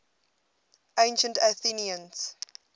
ancient athenians